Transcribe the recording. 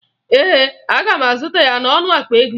Ee, aga m azụta ya n'ọnụ akpa ego ise